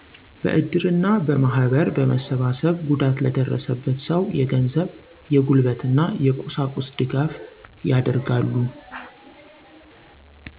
በእድር እና በማህበር በመሰባሰብ ጉዳት ለደረሰበት ሰው የገንዘብ፣ የጉልበት እና የቁሳቁስ ድጋፍ ያደርጋሉ።